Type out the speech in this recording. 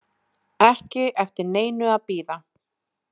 Ekki eftir neinu að bíða